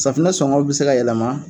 Safinɛ sɔngɔ bi se ka yɛlɛma